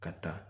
Ka taa